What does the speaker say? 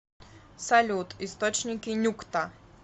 салют источники нюкта